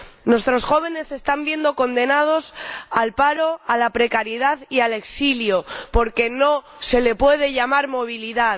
Nuestros jóvenes se están viendo condenados al paro, a la precariedad y al exilio, porque no se le puede llamar movilidad.